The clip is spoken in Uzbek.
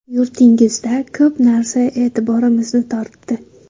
Yurtingizda ko‘p narsa e’tiborimizni tortdi.